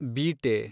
ಬೀಟೆ